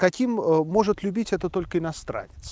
каким может любить это только иностранец